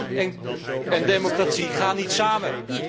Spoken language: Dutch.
Want islam en democratie gaan niet samen.